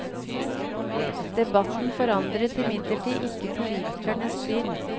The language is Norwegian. Debatten forandret imidlertid ikke politikernes syn.